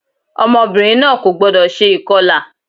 Ọmọbìnrin náà kò gbọ́dọ̀ se ìkọlà